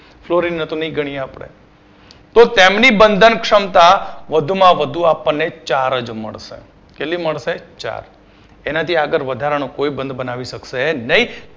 florin ને તો ને ગણીએ આપડે તો તેમની બંધન ક્ષમતા વધુમાં વધુ આપણને ચાર જ મળશે કેટલી મળશે? ચાર તેનાથી આગળનો વધારાનો કોઈ બંધ બનાવી શકશે નય